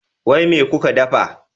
Wai me kuka ɗafa?